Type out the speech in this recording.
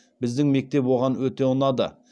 біздің мектеп оған өте ұнады